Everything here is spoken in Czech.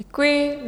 Děkuji.